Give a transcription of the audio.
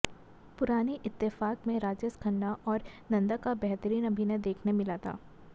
पुरानी इत्तेफ़ाक में राजेश खन्ना और नंदा का बेहतरीन अभिनय देखने मिला था